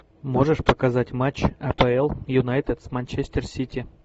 можешь показать матч апл юнайтед с манчестер сити